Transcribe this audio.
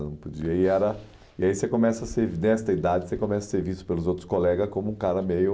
eu não podia, e aí era, E aí, você começa a ser, nessa idade, você começa a ser visto pelos outros colegas como um cara meio...